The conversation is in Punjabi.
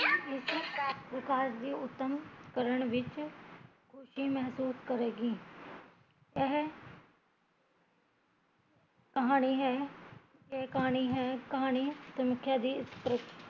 ਉੱਦਮ ਕਰਨ ਵਿੱਚ ਖੁਸ਼ੀ ਮਹੱਸੂਸ ਕਰੇਗੀ ਏਹ ਕਹਾਣੀ ਹੈ ਏਹ ਕਹਾਣੀ ਹੈ ਕਹਾਣੀ ਸੰਖਿਆ ਦੀ ਇਸ ਪ੍ਰੀ